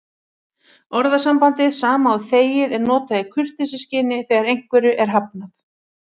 Orðasambandið sama og þegið er notað í kurteisisskyni þegar einhverju er hafnað.